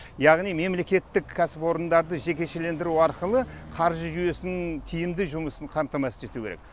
яғни мемлекеттік кәсіпорындарды жекешелендіру арқылы қаржы жүйесінің тиімді жұмысын қамтамасыз ету керек